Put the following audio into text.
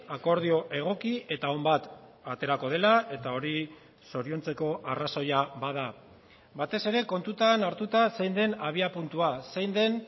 akordio egoki eta on bat aterako dela eta hori zoriontzeko arrazoia bada batez ere kontutan hartuta zein den abiapuntua zein den